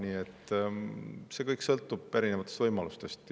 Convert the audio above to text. Nii et kõik sõltub erinevatest võimalustest.